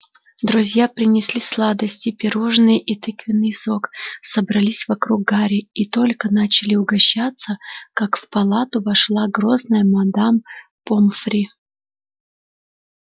друзья принесли сладости пирожные и тыквенный сок собрались вокруг гарри и только начали угощаться как в палату вошла грозная мадам помфри